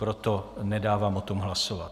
Proto nedávám o tom hlasovat.